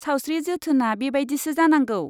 सावस्रि जोथोना बेबादिसो जानांगौ।